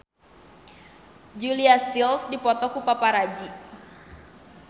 Julia Stiles dipoto ku paparazi